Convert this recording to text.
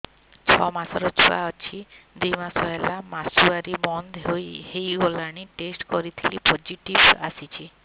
ଛଅ ମାସର ଛୁଆ ଅଛି ଦୁଇ ମାସ ହେଲା ମାସୁଆରି ବନ୍ଦ ହେଇଗଲାଣି ଟେଷ୍ଟ କରିଥିଲି ପୋଜିଟିଭ ଆସିଛି